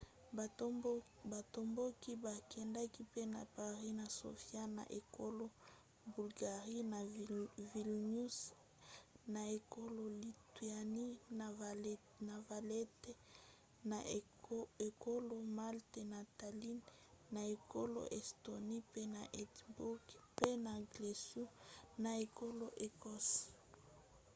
batomboki bakendaki pe na paris na sofia na ekolo bulgarie na vilnius na ekolo lituanie na valette na ekolo malte na tallinn na ekolo estonie pe na édimbourg pe na glasgow na ekolo écosse